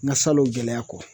N ka salon gɛlɛya kɔ